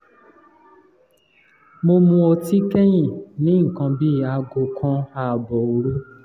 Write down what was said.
mo mu ọtí kẹ́yìn ní nǹkan bí aago kan ààbọ̀ òru